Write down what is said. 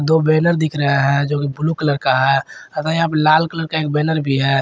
दो बैनर दिख रहा है जो ब्लू कलर का है तथा यहां लाल कलर का एक बैनर भी है।